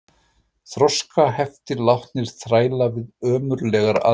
Þroskaheftir látnir þræla við ömurlegar aðstæður